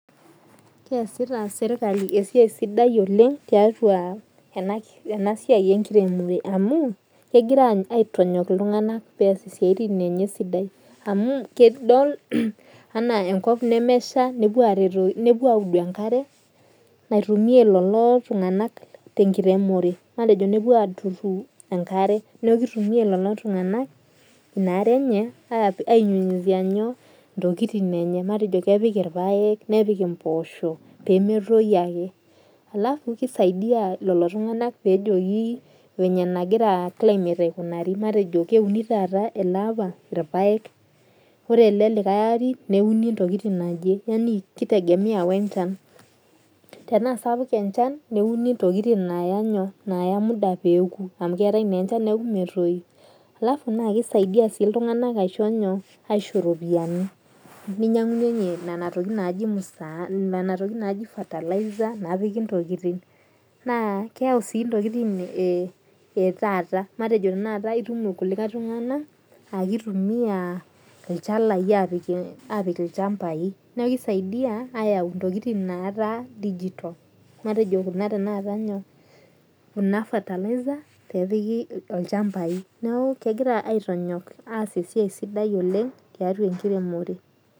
Keasita serkali esiai sidai oleng tiatua enasia enkiremore amu kegira aitonyuak ltunganak amu tena enchan nemesha nepuo audu enkare naitumia lolo tunganak tenkiremore neaku kitumia lolotunganak inaare enye aitook ntokitin enye ipaek nepik impoosho pemetoyu ake kisaidia lolotungak pejoki enegira climate aikunari matejo keuni irpaek taata neuni telelikae ari yani kitegemea wenchan tenasapuk enchan neuni ntokitin naya muda peoku alafu na kisaidia ltunganak aisho ropiyani ninyangunye nona tokitin naji fertiliser akitumia ilchalai apik ilchali neaku kisaidia ayau ntokitin etaata neaku kegira aitonyok aas esiai sidai oleng tiatua enkiremore